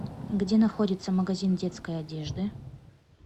где находится магазин детской одежды